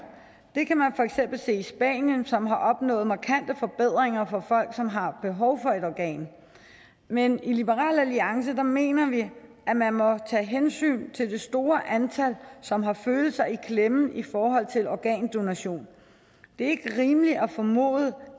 det kan man for se i spanien som har opnået markante forbedringer for folk som har behov for et organ men i liberal alliance mener vi at man må tage hensyn til det store antal som har følelser i klemme i forhold til organdonation det er ikke rimeligt at formode